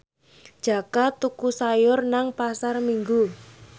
Jaka tuku sayur nang Pasar Minggu